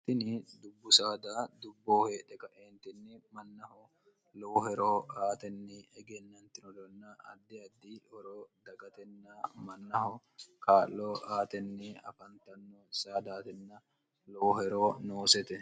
ini dubbu saada dubbooheedhe kaeentinni mannaho lowoheroo aatenni egennantinolonna addi addi horoo dagatenna mannaho kaa'loo aatenni afantanno saadaatenna looheroo noosete